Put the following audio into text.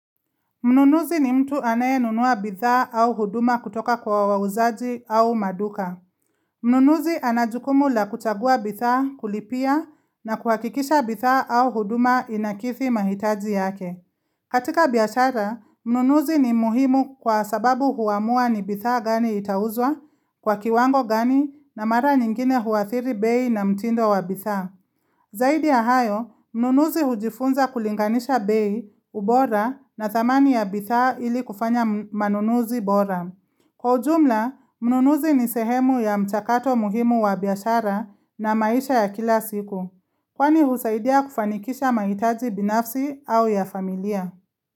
Mnunuzi ni mtu anaye nunua bidhaa au huduma kutoka kwa wauzaji au maduka. Mnunuzi anajukumu la kuchagua bidhaa kulipia na kuhakikisha bidhaa au huduma inakizi mahitaji yake. Katika biashara, mnunuzi ni muhimu kwa sababu huamua ni bidhaa gani itauzwa, kwa kiwango gani na mara nyingine huathiri bei na mtindo wa bidhaa. Zaidi ya hayo, mnunuzi hujifunza kulinganisha bei, ubora na thamani ya bidhaa ili kufanya manunuzi bora. Kwa ujumla, mnunuzi ni sehemu ya mchakato muhimu wa biashara na maisha ya kila siku. Kwani husaidia kufanikisha mahitaji binafsi au ya familia.